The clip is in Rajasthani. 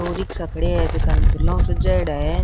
दो रिक्सा खड़ा है जेका न फूला ऊ सजायेड़ा है।